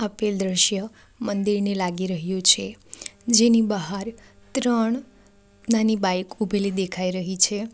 આપેલ દૃશ્ય મંદિરની લાગી રહ્યું છે જેની બહાર ત્રણ નાની બાઇક ઊભેલી દેખાઈ રહી છે.